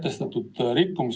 Kas nüüd on parem?